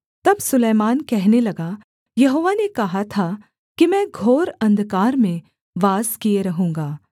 तब सुलैमान कहने लगा यहोवा ने कहा था कि मैं घोर अंधकार में वास किए रहूँगा